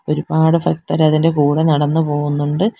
ഒരുപാട് ഭക്തർ അതിന്റെ കൂടെ നടന്നു പോകുന്നുണ്ട്.